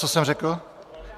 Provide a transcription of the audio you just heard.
Co jsem řekl?